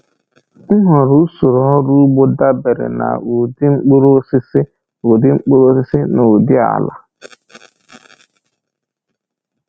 Nhọrọ usoro ọrụ ugbo dabere na ụdị mkpụrụosisi ụdị mkpụrụosisi na ụdị ala.